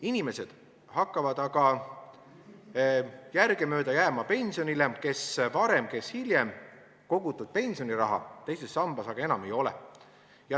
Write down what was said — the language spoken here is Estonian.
Inimesed hakkavad järgemööda jääma pensionile, kes varem, kes hiljem, kogutud pensioniraha teises sambas aga enam ei ole.